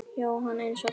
Jóhann: Eins og þessi?